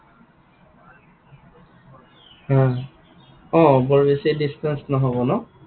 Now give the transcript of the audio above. হা। অ বৰ বেছি distance নহব ন?